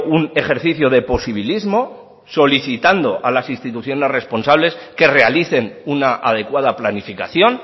un ejercicio de posibilismo solicitando a las instituciones responsables que realicen una adecuada planificación